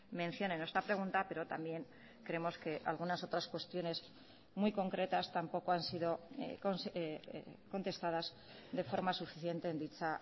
mención en nuestra pregunta pero también creemos que algunas otras cuestiones muy concretas tampoco han sido contestadas de forma suficiente en dicha